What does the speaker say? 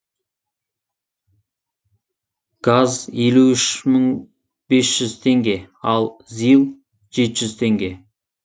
газ елу үш мың бес жүз теңге ал зил жеті жүз теңге